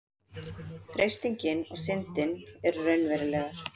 freistingin og syndin eru raunverulegar